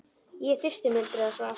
Ég er þyrstur muldraði sá aftari.